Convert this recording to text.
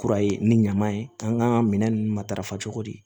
Kura ye ni ɲama ye k'an ka minɛn ninnu matarafa cogo di